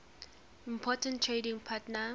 important trading partner